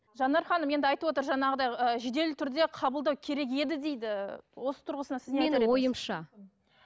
жанар ханым енді айтып отыр жаңағыдай ы жедел түрде қабылдау керек еді дейді осы тұрғысынан сіз